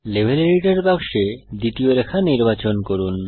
level editor বাক্সে দ্বিতীয় রেখা নির্বাচন করুন